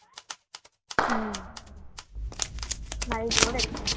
હમ મારી જોડે જ